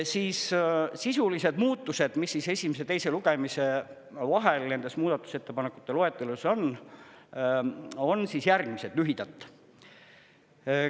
Siis sisulised muutused, mis esimese ja teise lugemise vahel nendes muudatusettepanekute loetelus on, on järgmised lühidalt.